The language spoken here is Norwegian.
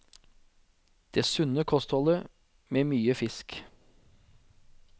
Det sunne kostholdet med mye fisk.